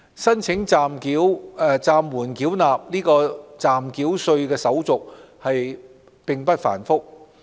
申請暫緩繳納暫繳稅的手續並不繁複。